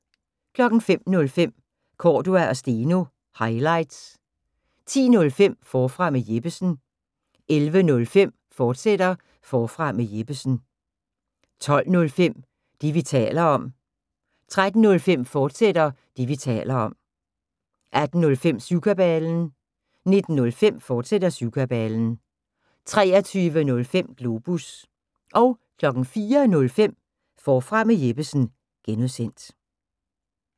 05:05: Cordua & Steno – highlights 10:05: Forfra med Jeppesen 11:05: Forfra med Jeppesen, fortsat 12:05: Det, vi taler om 13:05: Det, vi taler om, fortsat 18:05: Syvkabalen 19:05: Syvkabalen, fortsat 23:05: Globus 04:05: Forfra med Jeppesen (G)